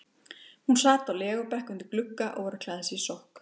Hún sat á legubekk undir glugga og var að klæða sig í sokk.